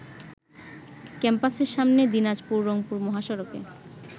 ক্যাম্পাসের সামনে দিনাজপুর-রংপুর মহাসড়কে